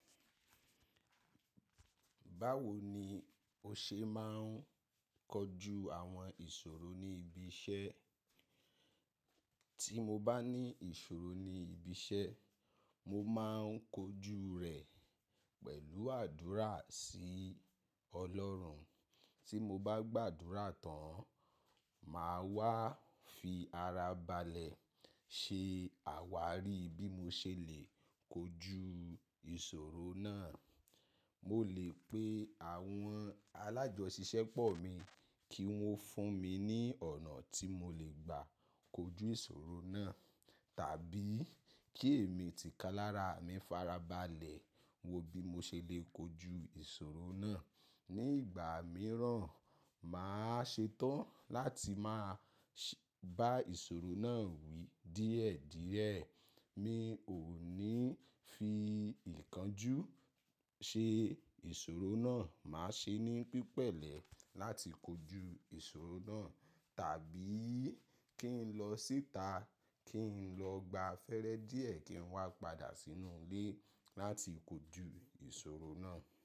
Báwo ni o ṣe máa ń kojú àwọn ìṣòro ní ibi iṣẹ́? Tí mo bá ní ìṣòro ní ibi iṣẹ́, mo máa ń kojú rẹ̀ pẹ̀lú àdúrà sí Ọlọ́run. Tí mo bá gbàdúrà tán, màá wá fi ara balẹ̀ ṣe àwárí bí mo ṣe le kojú ìṣòro náà. Mo lè pe àwọn alájọṣisẹ́pọ̀ mi kí wọ́n fún mi ní ọ̀nà tí mo lè gbà kojú ìṣòro náà tàbí kí èmi ti ká lára mi fara balẹ̀ wo bí mo ṣe le kojú ìṣòro náà. Ni ìgbà mìíràn, màá ṣe tán láti máa ṣé bá ìṣòro náà wí díẹ̀díẹ̀. Mi ò ní fi ìkánjú ṣe ìṣòro náà, màá ṣe ní pípẹ́lẹ̀ láti kojú ìṣòro náà tàbí kí n lọ síta, kí n lọ gba afẹ́rẹ́ díẹ̀ kí n wá padà sínú ilé láti kojú ìṣòro náà.